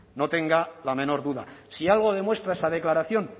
no tenga la menor duda si algo demuestra esa declaración